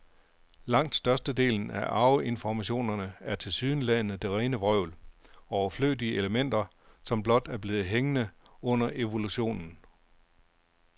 Langt størstedelen af arveinformationerne er tilsyneladende det rene vrøvl, overflødige elementer, som blot er blevet hængende under evolutionen.